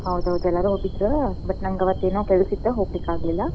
ಹೌದೌದ ಎಲ್ಲಾರೂ ಹೋಗಿದ್ರ but ನಂಗ್ ಅವತ್ತೇನೊ ಕೆಲ್ಸ ಇತ್ತ್ ಹೋಗ್ಲಿಕಾಗ್ಲಿಲ್ಲ.